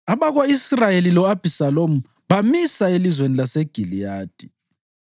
Abako-Israyeli lo-Abhisalomu bamisa elizweni laseGiliyadi.